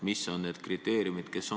Mis on need kriteeriumid?